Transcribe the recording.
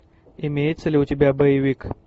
имеется ли у тебя боевик